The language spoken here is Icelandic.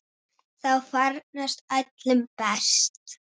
Þá farnast öllum best.